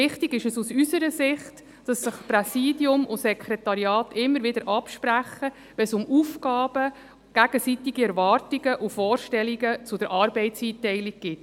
Wichtig ist aus unserer Sicht, dass sich Präsidium und Sekretariat immer wieder absprechen, wenn es um Aufgaben, gegenseitige Erwartungen und Vorstellungen bezüglich Arbeitseinteilung geht.